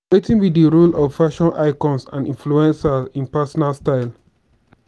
wetin be di role of di fashion icons and influencers in personal style?